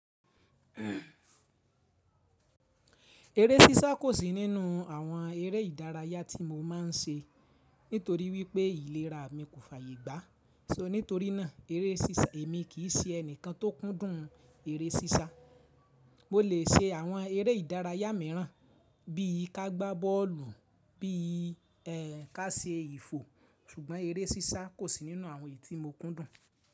Eré sísá kò sí nínú àwọn eré ìdárayá tí mo máa ń ṣe nítorí wípé ìlera mi kò fàyè gbá. So nítorínà eré sísá èmi kì í ṣe ẹnìkan tó kúndùn eré sísá. Mo lè ṣe àwọn eré ìdárayá míràn bí i kágbá bọ́ọ̀lù, bí i ká ṣe ìfò, ṣùgbọ́n eré sísá kò sí nínú àwọn èyí tí mo kúndùn.